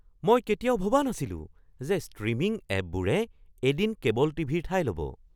মই কেতিয়াও ভবা নাছিলো যে ষ্ট্ৰীমিং এপবোৰে এদিন কেবল টিভি-ৰ ঠাই ল’ব।